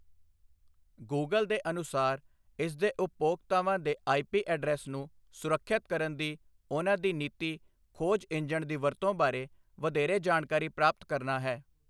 Google ਦੇ ਅਨੁਸਾਰ, ਇਸਦੇ ਉਪਭੋਗਤਾਵਾਂ ਦੇ ਆਈਪੀ ਐਡਰੈੱਸ ਨੂੰ ਸੁਰੱਖਿਅਤ ਕਰਨ ਦੀ ਉਨ੍ਹਾਂ ਦੀ ਨੀਤੀ ਖੋਜ ਇੰਜਣ ਦੀ ਵਰਤੋਂ ਬਾਰੇ ਵਧੇਰੇ ਜਾਣਕਾਰੀ ਪ੍ਰਾਪਤ ਕਰਨਾ ਹੈ।